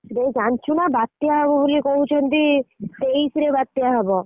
ଇରେ ଜାଣିଛୁ ନାଁ ବା ତ୍ୟା ହବ ବୋଲି କହୁଛନ୍ତି ତେଇଶ ରେ ବାତ୍ୟା ହବ।